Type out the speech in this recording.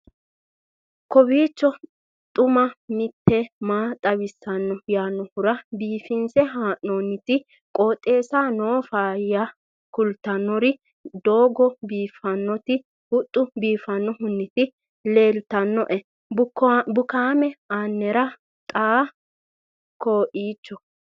kowiicho xuma mtini maa xawissanno yaannohura biifinse haa'noonniti qooxeessano faayya kultannori doogo biifffannoti huxxu biifannohunniti leeltannoe bukaame anera xa koeiicho